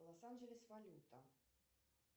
лос анджелес валюта